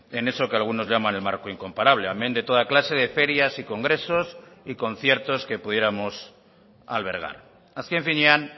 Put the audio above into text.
en eso que algunos llaman el marco incomparable amén de toda clase de ferias y congresos y conciertos que pudiéramos albergar azken finean